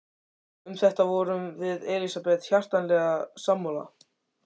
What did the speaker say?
Um þetta vorum við Elsabet hjartanlega sammála.